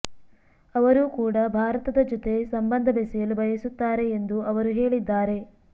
ಅವರು ಕೂಡ ಭಾರತದ ಜೊತೆ ಸಂಬಂಧ ಬೆಸೆಯಲು ಬಯಸುತ್ತಾರೆ ಎಂದು ಅವರು ಹೇಳಿದ್ದಾರೆ